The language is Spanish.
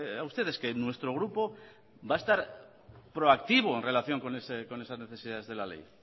a ustedes que nuestro grupo va a estar proactivo en relación con esas necesidades de la ley